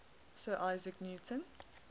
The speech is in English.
sir isaac newton